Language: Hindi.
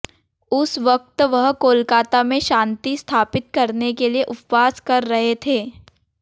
उस वक्त वह कोलकाता में शांति स्थापित करने के लिए उपवास कर रहे थे